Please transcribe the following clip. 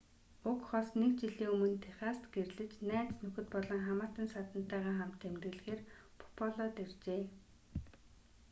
уг хос нэг жилийн өмнө техаст гэрлэж найз нөхөд болон хамаатан садантайгаа хамт тэмдэглэхээр буффалод иржээ